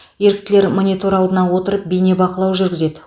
еріктілер монитор алдына отырып бейнебақылау жүргізеді